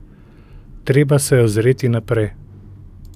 Treba se je ozreti naprej.